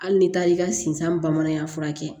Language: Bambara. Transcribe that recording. Hali ni taar'i ka sinsan bamananya furakɛ